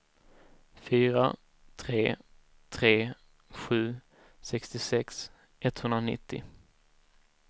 fyra tre tre sju sextiosex etthundranittio